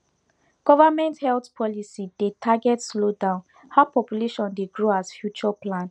government health policy dey target slow down how population dey grow as future plan